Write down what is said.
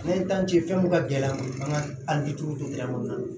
N'an ye fɛn mun ka gɛlɛn an ka kɔnɔna na